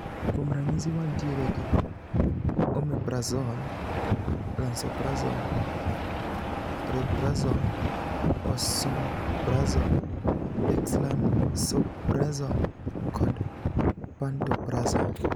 Kuom ranyisi wantiere gi omeprazole, lansoprazole, rabeprazole, esomeprazole, dexlansoprazole kod pantoprazole.